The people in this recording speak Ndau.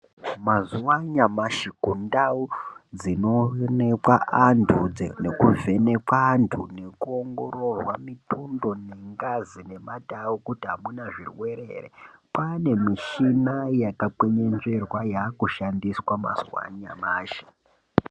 Mazuwa anyamashi kundau dzinoonekwa anthu , nekuvhenekwa anthu nekuongororwa mitundo nengazi nemata avo kuti amuna zvirwere ere mishina yakakwenenzverwa yaakushandiswa mazuwa anyamashi.